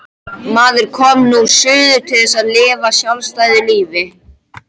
Maður kom nú suður til þess að lifa sjálfstæðu lífi.